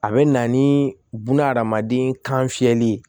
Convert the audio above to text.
A bɛ na ni bunahadamaden kan fiyɛli ye